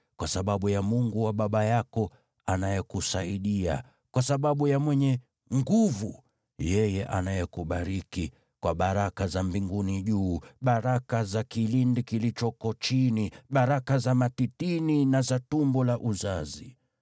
kwa sababu ya Mungu wa baba yako, anayekusaidia, kwa sababu ya Mwenyezi, yeye anayekubariki kwa baraka za mbinguni juu, baraka za kilindi kilichoko chini, baraka za matitini na za tumbo la uzazi.